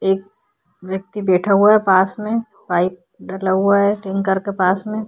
एक व्यक्ति बैठा हुआ है पास में। पाइप डला हुआ है टैंकर के पास में।